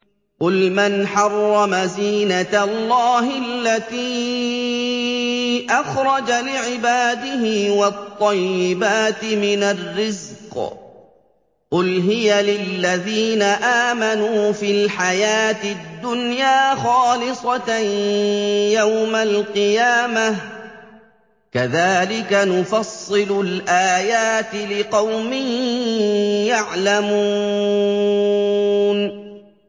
قُلْ مَنْ حَرَّمَ زِينَةَ اللَّهِ الَّتِي أَخْرَجَ لِعِبَادِهِ وَالطَّيِّبَاتِ مِنَ الرِّزْقِ ۚ قُلْ هِيَ لِلَّذِينَ آمَنُوا فِي الْحَيَاةِ الدُّنْيَا خَالِصَةً يَوْمَ الْقِيَامَةِ ۗ كَذَٰلِكَ نُفَصِّلُ الْآيَاتِ لِقَوْمٍ يَعْلَمُونَ